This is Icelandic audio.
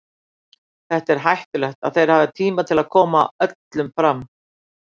Þetta er hættulegt og þeir hafa tíma til að koma öllum fram.